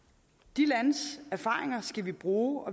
de landes erfaringer skal vi bruge